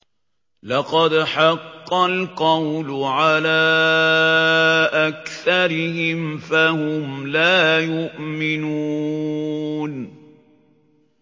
لَقَدْ حَقَّ الْقَوْلُ عَلَىٰ أَكْثَرِهِمْ فَهُمْ لَا يُؤْمِنُونَ